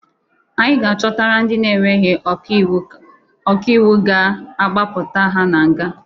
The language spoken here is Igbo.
Anyị ga-achọtara ndị na-enweghi ọka iwu ọka iwụ ga-agbapụta ha na nga.